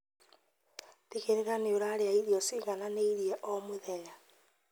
Tigĩrĩra nĩũrarĩa irio cigananĩire o mũthenya